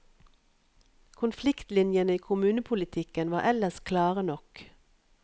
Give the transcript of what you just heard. Konfliktlinjene i kommunepolitikken var ellers klare nok.